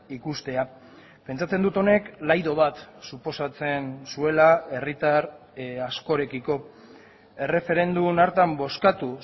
ikustea pentsatzen dut honek laido bat suposatzen zuela herritar askorekiko erreferendum hartan bozkatu